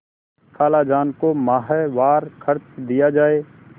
खालाजान को माहवार खर्च दिया जाय